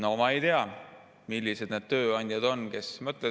No ma ei tea, millised need tööandjad on, kes nii mõtlevad.